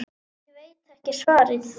Ég veit ekki svarið.